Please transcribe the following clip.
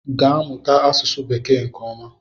gaa mụta asụsụ bekee nke oma!